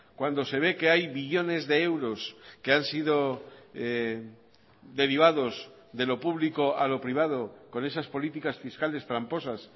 cuando se ve que hay billones de euros que han sido derivados de lo público a lo privado con esas políticas fiscales tramposas